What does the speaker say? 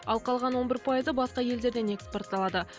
ал қалған он бір пайызы басқа елдерден экспортталады